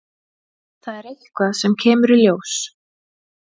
Það er eitthvað sem kemur í ljós.